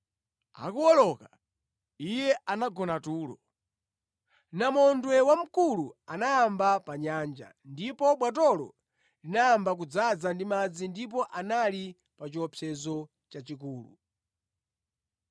Akuwoloka, Iye anagona tulo. Namondwe wamkulu anayamba pa nyanja, ndipo bwatolo linayamba kudzaza ndi madzi ndipo anali pa chiopsezo chachikulu.